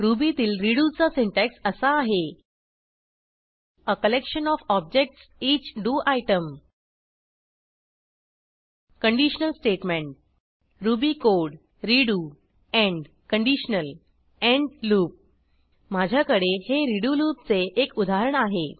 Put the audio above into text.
रुबीतील redo चा syntax असा आहे आ कलेक्शन ओएफ objectsईच do item conditional statement Ruby code redo end conditional end loop माझ्याकडे हे रेडो लूपचे एक उदाहरण आहे